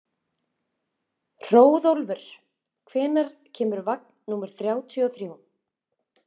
Hróðólfur, hvenær kemur vagn númer þrjátíu og þrjú?